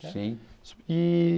Sim. E